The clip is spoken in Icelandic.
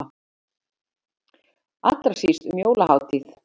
Allra síst um jólahátíð.